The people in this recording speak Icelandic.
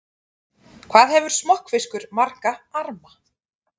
Hvað hefur smokkfiskur marga arma?